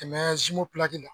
Tɛmɛ zinmo pilaki la.